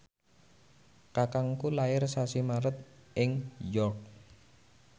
kakangku lair sasi Maret ing York